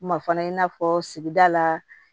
Ma fana i n'a fɔ sigida la